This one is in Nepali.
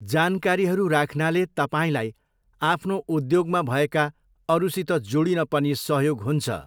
जानकारीहरू राख्नाले तपाईँलाई आफ्नो उद्योगमा भएका अरूसित जोडिन पनि सहयोग हुन्छ।